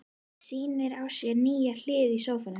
Sýnir á sér nýja hlið í sófanum.